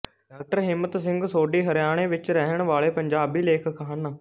ਡਾ ਹਿੰਮਤ ਸਿੰਘ ਸੋਢੀ ਹਰਿਆਣੇ ਵਿੱਚ ਰਹਿਣ ਵਾਲੇ ਪੰਜਾਬੀ ਲੇਖਕ ਹਨ